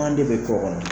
An de bɛ to kɔnɔ